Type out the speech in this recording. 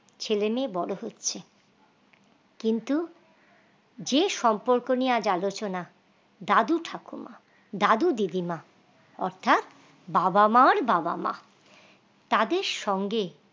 ছেলে মেয়ে বড় হচ্ছে কিন্তু যে সম্পর্ক নিয়ে আজ আলোচনা দাদু ঠাকুমা দাদু দিদিমা অর্থাৎ বাবা মার বাবা মা তাদের সঙ্গে